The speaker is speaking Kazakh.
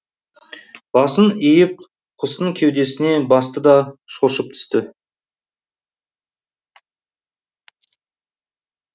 басын иіп құстың кеудесіне басты да шоршып түсті